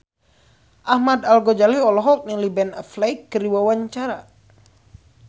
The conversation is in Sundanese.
Ahmad Al-Ghazali olohok ningali Ben Affleck keur diwawancara